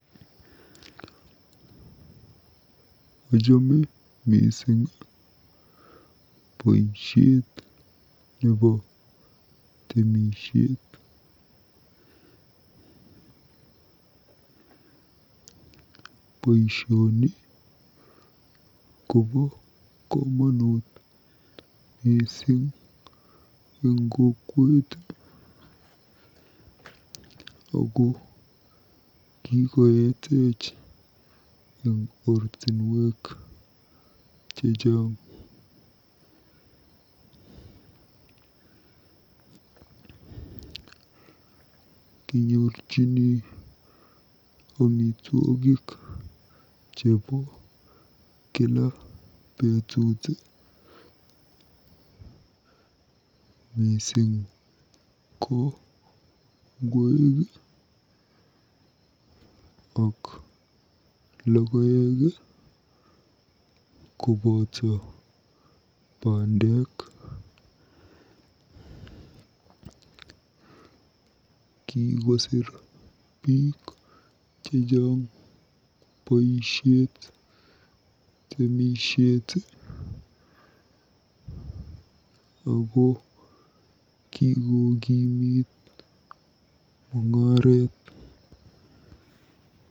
Ochome mising boisiet nebo temisiet. Boisioni kobo komonut mising eng kokwet ako kiketech eng ortinwek chechang. Kinyorchini amitwogik chebo kila betut mising ko ngwek ak logoek koboto pandek. Kikosir biik chechang temisiet ako kikokimit mung'aret.